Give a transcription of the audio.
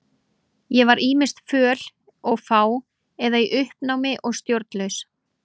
Ég var ýmist föl og fá eða í uppnámi og stjórnlaus.